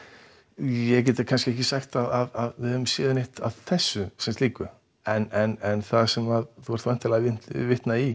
ég get kannski ekki sagt að við höfum séð neitt af þessu sem slíku en það sem þú ert væntanlega að vitna í